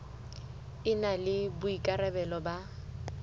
e na le boikarabelo ba